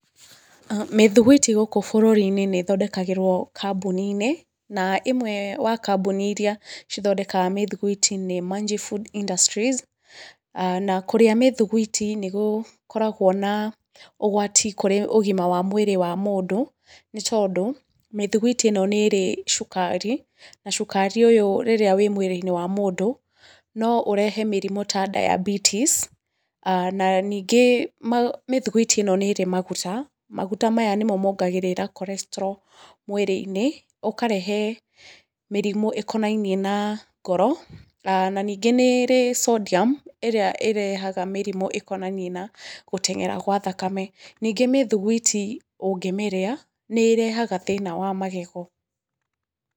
Mĩthuguiti gũkũ bũrũri-inĩ nĩ ĩthondekagĩrwo kambuni-inĩ na ĩmwe ya kambuni iria cithondekaga mĩthuguiti nĩ Manji Food Industries. Na kũrĩa mĩthuguiti nĩ gũkoragwo na ũgwati kũrĩ ũgima wa mwĩrĩ wa mũndũ nĩ tondũ mĩthuguiti ĩno nĩ ĩrĩ cukari na cukari ũcio rĩrĩa wĩ mwĩrĩ-inĩ wa mũndũ no ũrehe mĩrimũ ta diabetes na ningĩ mĩthuguiti ĩno nĩ ĩrĩ maguta, maguta maya nĩmo mongagĩrĩra cholestrol mwĩrĩ-inĩ ũkarehe mĩrimũ ĩkonainie na ngoro. Na ningĩ nĩ ĩrĩ sodium ĩrĩa ĩrehaga mĩrimũ ĩkonainie na gũteng'era gwa thakame. Ningĩ mĩthuguiti ũngĩmĩrĩa nĩ ĩrehaga thĩna wa magego.